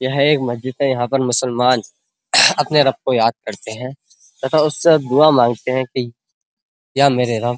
यह एक महजीद है। यहाँ पर मुसलामन अपने रब को याद करते हैं तथा उससे दुआ मांगते है कि या मेरे रब --